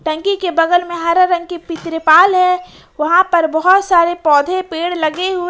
टंकी के बगल में हरे रंग की पी तिरपाल है वहां पर बहुत सारे पौधे पेड़ लगे हुए--